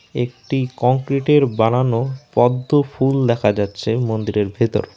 একটি কংক্রিটের বানানো পদ্ম ফুল দেখা যাচ্ছে মন্দিরের ভেতর।